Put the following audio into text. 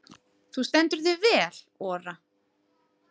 Þú stendur þig vel, Ora!